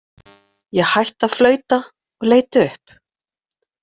Ég hætti að flauta og leit upp.